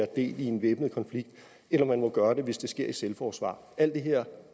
del i en væbnet konflikt eller man må gøre det hvis det sker i selvforsvar alt det her